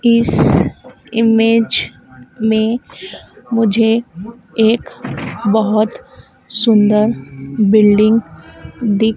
इस इमेज में मुझे एक बहोत सुंदर बिल्डिंग दिख--